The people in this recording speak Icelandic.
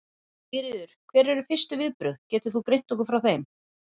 Sigríður: Hver eru fyrstu viðbrögð, getur þú greint okkur frá þeim?